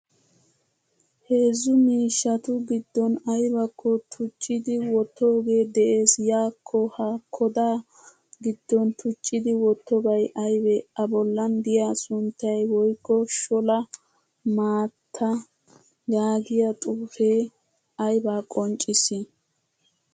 Heezzu miishshatu giddon aybakko tuccidi wottoge de'ees. Yako ha koda giddon tuccidi wottobay aybe? A bollan de'iyaa sunttay woykko sholla maattaa yaagiyaa xuufe ayba qonccissi?